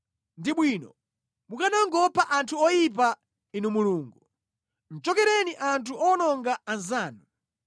Ndi bwino mukanangopha anthu oyipa, Inu Mulungu! Chokereni inu anthu owononga anzanu!